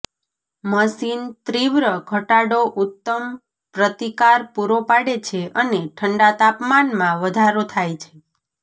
machine તીવ્ર ઘટાડો ઉત્તમ પ્રતિકાર પૂરો પાડે છે અને ઠંડા તાપમાનમાં વધારો થાય છે